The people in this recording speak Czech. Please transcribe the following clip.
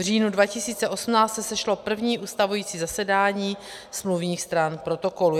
V říjnu 2018 se sešlo první ustavující zasedání smluvních stran protokolu.